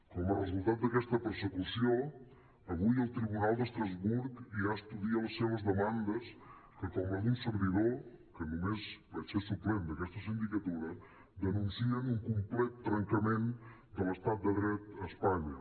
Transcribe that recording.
com a resultat d’aquesta persecució avui el tribunal d’estrasburg ja estudia les seves demandes que com la d’un servidor que només vaig ser suplent d’aquesta sindicatura denuncien un complet trencament de l’estat de dret a espanya